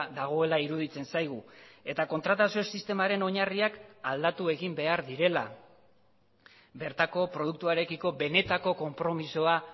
dagoela iruditzen zaigu eta kontratazio sistemaren oinarriak aldatu egin behar direla bertako produktuarekiko benetako konpromisoa